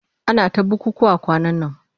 Ana ta bukukkuwa kwanan nan.